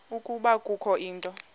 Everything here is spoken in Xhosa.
ukuba kukho into